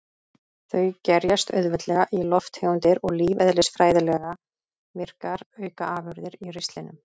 Þau gerjast auðveldlega í lofttegundir og lífeðlisfræðilega virkar aukaafurðir í ristlinum.